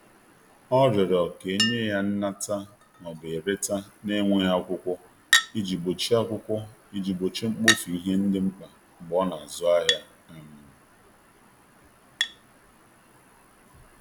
ọ riorọ ka enye ya nnata/ereta na nweghi akwụkwo iji gbochie akwụkwo iji gbochie mgbofu ihe ndi mkpa mgbe ọ na azụ ahia um